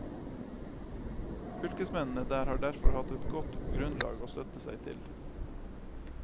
Fylkesmennene der har derfor hatt et godt grunnlag å støtte seg til.